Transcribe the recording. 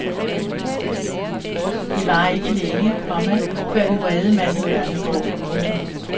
Det varer ikke længe, komma før den vrede mand i hjørnet går. punktum